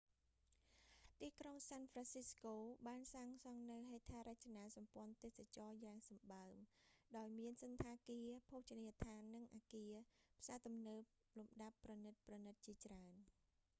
ទីក្រុងសាន់ហ្វ្រាន់ស៊ីស្កូ បានសាងសង់នូវហេដ្ឋារចនាសម្ព័ន្ធទេសចរណ៍យ៉ាងសម្បើម ដោយមានសណ្ឋាគារ ភោជនីយដ្ឋាន និងអគារផ្សារទំនើបលំដាប់ប្រណីតៗជាច្រើន